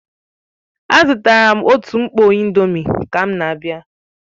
Azụtara m otu mkpọ indomie ka m na-abịa